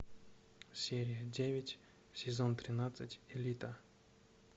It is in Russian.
серия девять сезон тринадцать элита